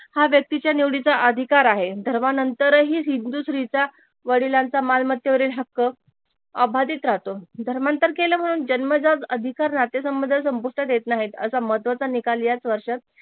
हा व्यक्तीच्या निवडीचा अधिकार आहे धर्मांतर ही हिंदू स्त्रीचा वडिलांच्या मालमत्तेवरील हक्क अबादित राहतो धर्मांतर केल म्हणून जन्मजात अधिकार नातेसंबंध संपुष्टात येत नाही असा महत्वाचा निकाल याच वर्षात